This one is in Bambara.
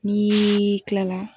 N'ii tilala